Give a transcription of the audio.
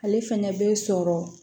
Ale fɛnɛ bɛ sɔrɔ